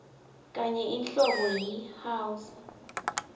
tenye inhlobo yi house